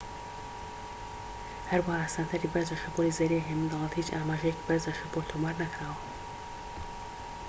هەروەها سەنتەری بەرزە شەپۆلی زەریای هێمن دەڵێت هیچ ئاماژەیەکی بەرزە شەپۆل تۆمار نەکراوە